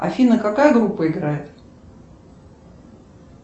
афина какая группа играет